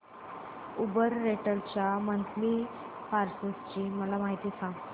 Uber rental च्या monthly passes ची माहिती सांग